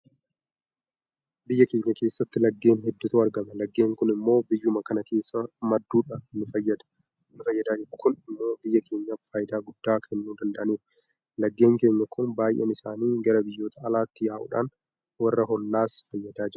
Biyya keenya keessatti laggeen hedduutu argama. Laggeen kun immoo biyyuma kana keessaa madduudhaan nufayyadaa jiru. Kun immoo biyya keenyaaf faayidaa guddaa kennuu danda'aniiru. Laggeen keenya kun baay'een isaanii gara biyyoota alaatti yaa'uudhaan warra hollaas fayyadaa jiru.